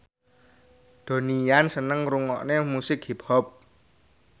Donnie Yan seneng ngrungokne musik hip hop